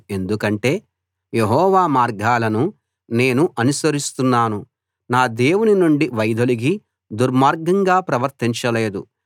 ఎందుకంటే యెహోవా మార్గాలను నేను అనుసరిస్తున్నాను నా దేవుని నుండి వైదొలగి దుర్మార్గంగా ప్రవర్తించలేదు